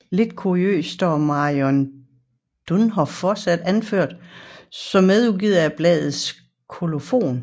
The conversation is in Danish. Lidt kuriøst står Marion Dönhoff fortsat anført som medudgiver i bladets kolofon